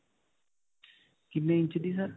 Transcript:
ਕਿੰਨੇ ਇੰਚ ਦੀ sir?